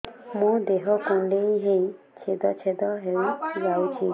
ମୋ ଦେହ କୁଣ୍ଡେଇ ହେଇ ଛେଦ ଛେଦ ହେଇ ଯାଉଛି